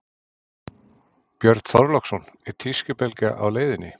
Björn Þorláksson: Er tískubylgja á leiðinni?